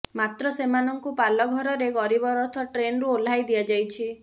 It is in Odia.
ମାତ୍ର ସେମାନଙ୍କୁ ପାଲଘରରେ ଗରିବ ରଥ ଟ୍ରେନର ଓହ୍ଲାଇ ଦିଆଯାଇଛି